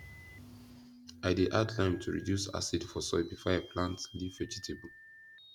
i dey add lime to reduce acid for soil before i plant leaf vegetable